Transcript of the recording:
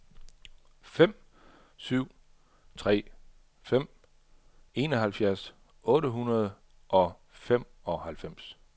fem syv tre fem enoghalvfjerds otte hundrede og femoghalvfems